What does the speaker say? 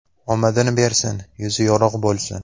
Omadini bersin, yuzi yorug‘ bo‘lsin!